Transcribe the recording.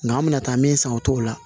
Nga an mi na taa min san o t'o la